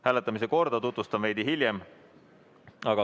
Hääletamise korda tutvustan veidi hiljem.